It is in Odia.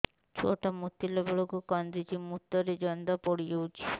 ଛୁଆ ଟା ମୁତିଲା ବେଳକୁ କାନ୍ଦୁଚି ମୁତ ରେ ଜନ୍ଦା ପଡ଼ି ଯାଉଛି